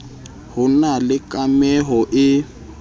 ho na le kameho e